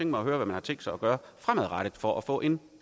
mig at høre hvad man har tænkt sig at gøre fremadrettet for at få en